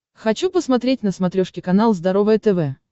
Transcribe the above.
хочу посмотреть на смотрешке канал здоровое тв